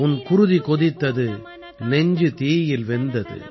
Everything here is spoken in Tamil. உன் குருதி கொதித்தது நெஞ்சு தீயில் வெந்தது